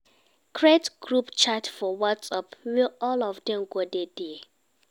Create group chat for whatsApp wey all of dem go dey there